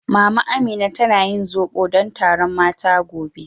Mama Amina tana yin zobo don taron mata gobe.